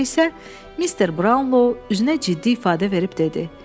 Sonra isə Mister Brownlo üzünə ciddi ifadə verib dedi: